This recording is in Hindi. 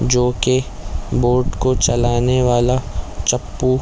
जो कि बोर्ड को चलाने वाला चप्पु--